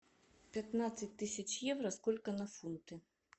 пятнадцать тысяч евро сколько на фунты